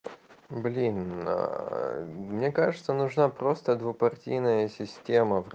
блин аа мне кажется нужна просто двухпартийная система